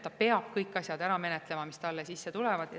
Ta peab ära menetlema kõik asjad, mis talle sisse tulevad.